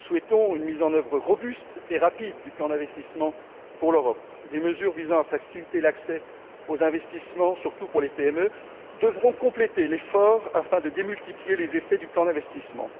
Nous souhaitons une mise en œuvre robuste et rapide du plan d'investissement pour l'Europe. Des mesures visant à faciliter l'accès aux investissements, surtout pour les PME, devront compléter l'effort afin de démultiplier les effets du plan d'investissement.